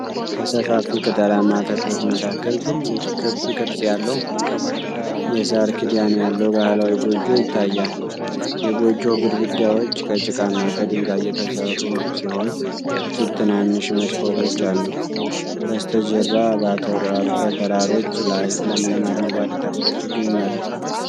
ከሰፋፊ ቅጠላማ ተክሎች መካከል ትልቅ ክብ ቅርጽ ያለው የሳር ክዳን ያለው ባህላዊ ጎጆ ይታያል። የጎጆው ግድግዳዎች ከጭቃና ከድንጋይ የተሠሩ ሲሆን፣ ጥቂት ትናንሽ መስኮቶች አሉት። በስተጀርባ በተራሮች ላይ ለምለም አረንጓዴ ተክሎች ይገኛሉ።